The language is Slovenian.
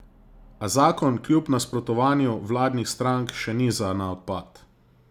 A zakon kljub nasprotovanju vladnih strank še ni za na odpad.